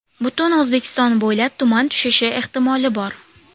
Butun O‘zbekiston bo‘ylab tuman tushishi ehtimoli bor.